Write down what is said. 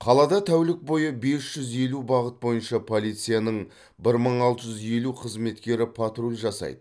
қалада тәулік бойы бес жүз елу бағыт бойынша полицияның бір мың алты жүз елу қызметкері патруль жасайды